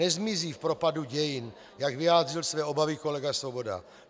Nezmizí v propadu dějin, jak vyjádřil své obavy kolega Svoboda.